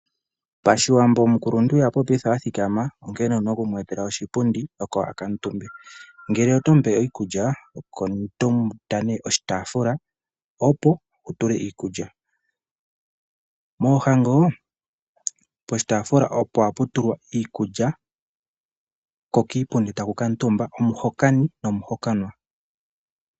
Pashiwambo omukuluntu ihapopitha athikama onkene owuna oku mwetela oshipundi akutumbe ngele oto mupe iikulya oto eta ne oshitafula opo wutule likulya, moohango poshitafula opo haputulwa iikulya ko kiipundi takukutumba omuhokani nomuhokanwa.